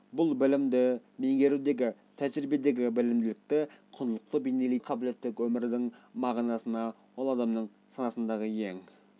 біліктілік бұл білімді меңгерудегі тәжірбиедегі білімділікті құндылықты бейнелейтін жалпы қабілеттілік өмірдің мағынасы ол адамның санасындағы ең